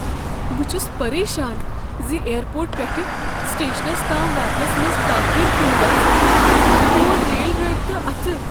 بہٕ چھس پریشان ز ایر پورٹ پٮ۪ٹھٕ سٹیشنس تام واتنس منٛز تاخیر کنۍ گژھ، میون ریل رٲبطہٕ اتھٕ۔